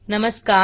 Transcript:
नमस्कार